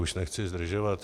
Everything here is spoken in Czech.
Už nechci zdržovat.